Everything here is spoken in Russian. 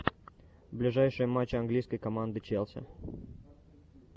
ближайшие матчи английской команды челси